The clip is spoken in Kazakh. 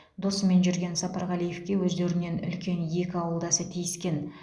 досымен жүрген сапарғалиевке өздерінен үлкен екі ауылдасы тиіскен